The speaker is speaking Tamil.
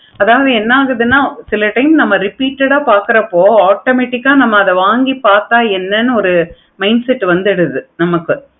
அதாவது என்ன ஆகுதுன்னா again நம்ம repeated ஆஹ் பார்க்கிறப்ப automatic ஆஹ் அத நம்ம வாங்கி பார்த்த என்ன இரு mindset வந்துருது நமக்கு